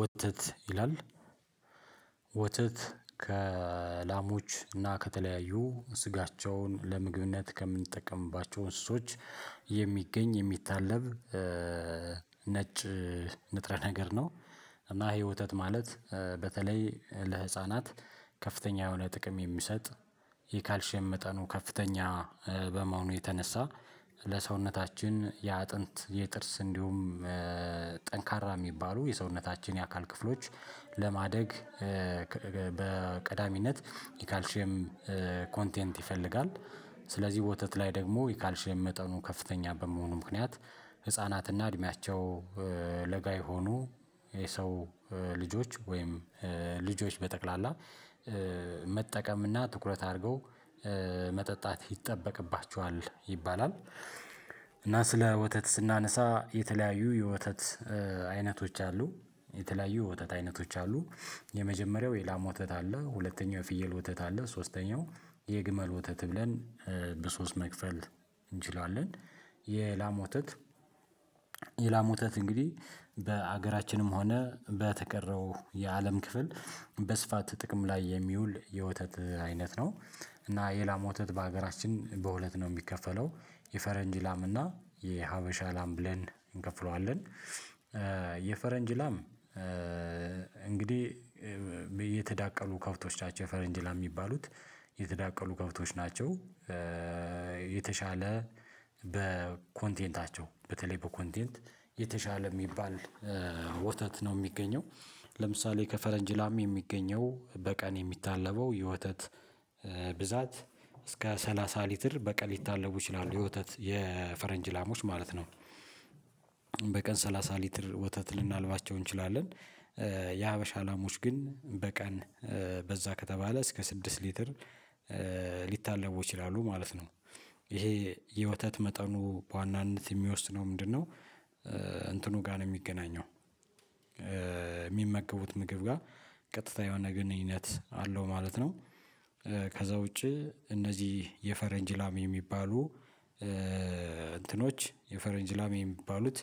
ወተት ይላል ወተት ከላሞች እና ከተለያዩ ስጋቸውን ለምግብነት ከምንጠቀምባቸው እንስሶች የሚገኝ የሚታለብ ነጭ ንጥረ ነገር ነው። እና ይሄ ወተት ማለት በተለይ ለህፃናት ከፍተኛ የሆነ ጥቅም የሚሰጥ ይሄ ካልሸም መጠኑ ከፍተኛ በመሆኑ የተነሳ ለሰውነታችን የአጥንት የጥርስ እንዲሁም ጠንካራ ሚባሉ የሰውነታችን የአካል ክፍሎች ለማደግ በቀዳሚነት የካልሼም ኮንቴንት ይፈልጋል። ስለዚህ ወተት ላይ ደግሞ ካልሸም መጠኑ ከፍተኛ በመሆኑ ምክንያት ህፃናትና እድሜያቸው ለጋ የሆኑ የሰው ልጆች ወይም ልጆች በጠቅላላ መጠቀምና ትኩረት አርገው መጠጣት ይጠበቅባቸዋል ይባላል። እና ስለ ወተት ስናነሳ የተለያዩ የወተት አይነቶች አሉ። የተለያዩ ወተት አይነቶች አሉ። የመጀመሪያው የላም ወተት አለ ሁለተኛው የፍየል ወተት አለ ሶስተኛው የግመል ወተት ብለን በሶስት መክፈል እንችላለን። የላም ወተት የላም ወተት እንግዲህ በአገራችንም ሆነ በተቀረው የአለም ክፍል በስፋት ጥቅም ላይ የሚውል የወተት አይነት ነው። እና የላም ወተት በአገራችን በሁለት ነው የሚከፈለው የፈረንጅ ላም እና የሀበሻ ላም ብለን እንከፍለዋለን። የፈረንጅ ላም እንግዲህ የተዳቀሉ ከብቶች ናቸው የፈረንጅ ላም የሚባሉት የተዳቀሉ ከብቶች ናቸው። የተሻለ በኮንቴንታቸው በተለይ በኮንቴንት የተሻለ የሚባል ወተት ነው የሚገኘው። ለምሳሌ ከፈረንጅ ላሚ የሚገኘው በቀን የሚታለበው የወተት ብዛት እስከ ሰላሳ ሊትር በቀን ሊታለቡ ይችላሉ የወተት የፈረንጅ ላሞች ማለት ነው። በቀን ሰላሳ ሊትር ወተት ልናልባቸው እንችላለን። የሀበሻ ላሞች ግን በቀን በዛ ከተባለ እስከ ስድስት ሊትር ሊታለቡ ይችላሉ ማለት ነው። እሄ የወተት መጠኑ በዋናነት የሚወስነው ምንድነው? እንትኑ ጋ ነው የሚገናኘው። የሚመገቡት ምግብ ጋ ቀጥታ የሆነ ግንኙነት አለው ማለት ነው። ከዛ ውጪ እነዚህ የፈረንጅ ላም የሚባሉ እንትኖች የፈረንጅ ላም የሚባሉት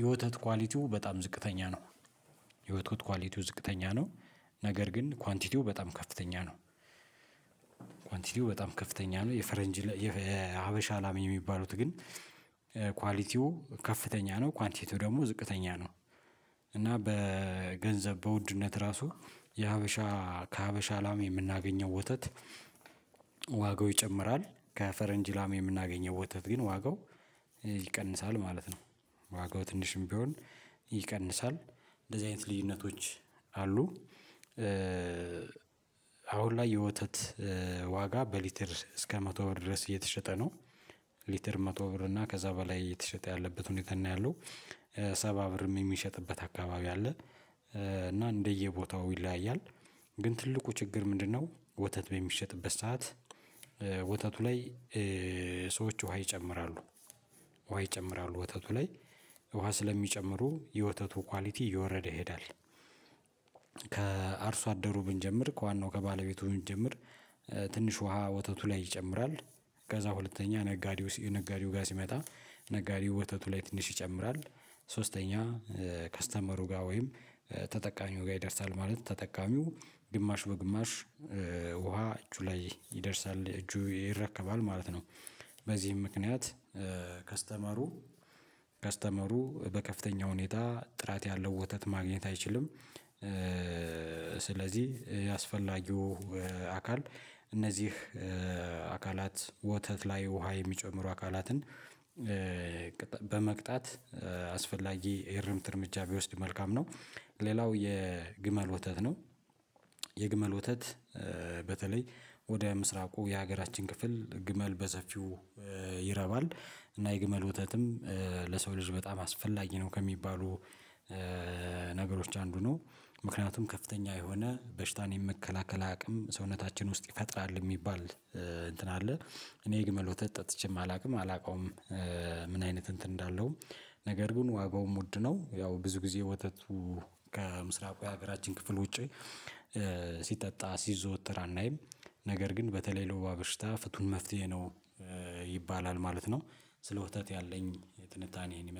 የወተት ኳሊቲው በጣም ዝቅተኛ ነው። የወተት ኳሊቲው ዝቅተኛ ነው። ነገር ግን ኳንቲቲው በጣም ከፍተኛ ነው። ኳንቲቲው በጣም ከፍተኛ ነው የፈረንጅ የሀበሻ ላም የሚባሉት ግን ኳሊቲው ከፍተኛ ነው ኳንቲቲው ደግሞ ዝቅተኛ ነው። እና በገንዘብ በውድነት ራሱ የሀበሻ ከሀበሻ ላም የምናገኘው ወተት ዋጋው ይጨምራል ከፈረንጅ ላም የምናገኘው ወተት ግን ዋጋው ይቀንሳል ማለት ነው። ዋጋው ትንሽም ቢሆን ይቀንሳል እንደዚህ አይነት ልዩነቶች አሉ። አሁን ላይ የወተት ዋጋ በሊትር እስከ መቶ ብር ድረስ እየተሸጠ ነው። ሊትር መቶ ብር እና ከዛ በላይ የተሸጠ ያለበት ሁኔታ እና ያለው ሰባ ብርም የሚሸጥበት አካባቢ አለ። እና እንደየቦታው ይለያያል። ግን ትልቁ ችግር ምንድነው? ወተት የሚሸጥበት ሰዓት ወተቱ ላይ ሰዎች ውሃ ይጨምራሉ። ውሃ ይጨምራሉ ወተቱ ላይ ውሃ ስለሚጨምሩ የወተቱ ኳሊቲ እየወረደ ይሄዳል። ከአርሶ አደሩ ብንጀምር ከዋናው ከባለቤቱ ብንጀምር ትንሽ ውሃ ወተቱ ላይ ይጨምራል። ከዛ ሁለተኛ ነጋዴው ነጋዴው ጋ ሲመጣ ነጋዴው ወተቱ ላይ ትንሽ ይጨምራል። ሶስተኛ ከስተመሩ ጋር ወይም ተጠቃሚው ጋር ይደርሳል ማለት ተጠቃሚው ግማሽ በግማሽ ውሃ እጁ ላይ ይደርሳል እጁ ይረከባል ማለት ነው። በዚህም ምክንያት ከስተመሩ ከስተመሩ በከፍተኛ ሁኔታ ጥራት ያለው ወተት ማግኘት አይችልም። ስለዚህ ያስፈላጊው አካል እነዚህ አካላት ወተት ላይ ውሃ የሚጨምሩ አካላትን በመቅጣት አስፈላጊ የርምት እርምጃ ቢወስድ መልካም ነው። ሌላው የግመል ወተት ነው። የግመል ወተት በተለይ ወደ ምስራቁ የሀገራችን ክፍል ግመል በሰፊው ይረባል እና የግመል ወተትም ለሰው ልጅ በጣም አስፈላጊ ነው ከሚባሉ ነገሮች አንዱ ነው። ምክንያቱም ከፍተኛ የሆነ በሽታን የመከላከል አቅም ሰውነታችን ውስጥ ይፈጥራል የሚባል እንትን አለ። እኔ የግመል ወተት ጠጥቼም አላውቅም አላውቀውም። ምን አይነት እንትን እንዳለውም ነገር ግን ዋጋውም ውድ ነው ያው ብዙ ጊዜ ወተቱ ከምስራቁ የሀገራችን ክፍል ውጪ ሲጠጣ ሲዘወትር አናይም ነገር ግን በተለይ ለውባ በሽታ ፍቱን መፍትሄ ነው። ይባላል ማለት ነው። ስለ ወተት ያለኝ ትንታኔ እሄን ይመስላል